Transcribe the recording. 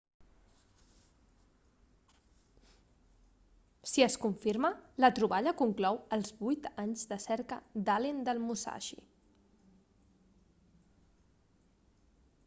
si es confirma la troballa conclou els 8 anys de cerca d'allen del musashi